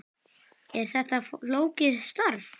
Er þetta flókið starf?